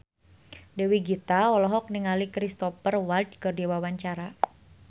Dewi Gita olohok ningali Cristhoper Waltz keur diwawancara